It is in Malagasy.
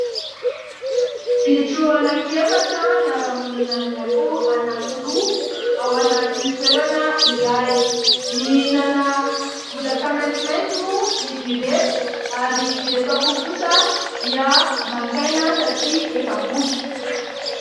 Bitro anankiefatra miara-monina aminy akoho anankiroa ao anaty toerana iray. Mihinana bozaka maitsomaitso moa izy ireto ary ireto akoho kosa dia maka aina satria efa voky.